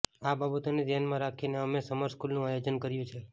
આ બાબતોને ધ્યાનમાં રાખીને અમે સમર સ્કૂલનું આયોજન કર્યું છે